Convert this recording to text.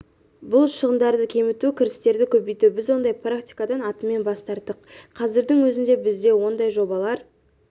бұл шығындарды кеміту кірістерді көбейту біз ондай практикадан атымен бас тарттық қазірдің өзінде бізде ондай жобалар